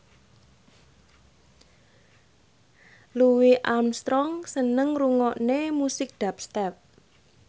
Louis Armstrong seneng ngrungokne musik dubstep